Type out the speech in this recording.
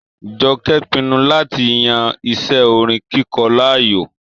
Jọkẹ́ pinnu láti yan iṣẹ́ orin kíkọ láàyò.